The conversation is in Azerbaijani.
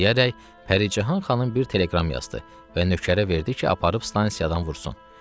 Bunu deyərək Pərican xanım bir telegram yazdı və nökərə verdi ki, aparıb stansiyadan vursun.